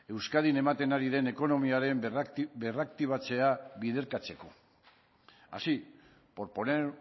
euskadin ematen ari den ekonomiaren berraktibatzea biderkatzeko así por poner